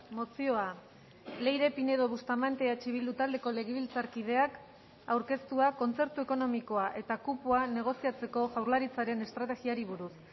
mozioa leire pinedo bustamante eh bildu taldeko legebiltzarkideak aurkeztua kontzertu ekonomikoa eta kupoa negoziatzeko jaurlaritzaren estrategiari buruz